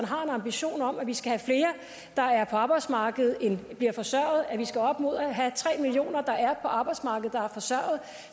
har en ambition om at vi skal have flere der er på arbejdsmarkedet end der bliver forsørget at vi skal op mod at have tre millioner mennesker der er på arbejdsmarkedet der er forsørget